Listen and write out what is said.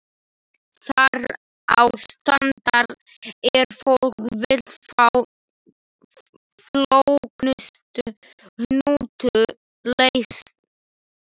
Þar á strandar er fólk vill fá flóknustu hnúta leysta.